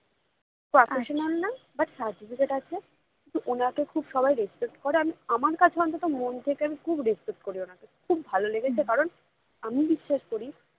but certificate আছে কিন্তু ওনাকে সবাই খুব respect করে আমি আমরা কাছে অন্ততঃ আমি মন থেকে respect ওনাকে করি খুব ভালো লেগেছে কারণ আমি বিশ্বাস করি